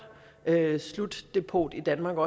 slutdepot i danmark